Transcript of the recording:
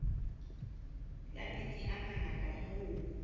la metsi a mangata hoo